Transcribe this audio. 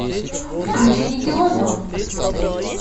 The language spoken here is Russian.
включи никелодеон